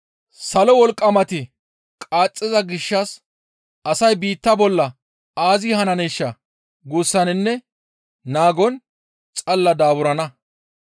Salo wolqqamati qaaxxiza gishshas asay biitta bolla aazee hananeeshaa guussaninne naagon xalla daaburana.